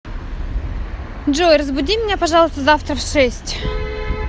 джой разбуди меня пожалуйста завтра в шесть